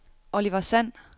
Oliver Sand